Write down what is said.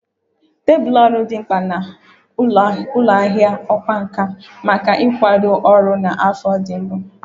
Tebụl ọrụ dị mkpa na ụlọ ahịa ọkwá nkà maka ịkwado ọrụ na afọ ndị mbụ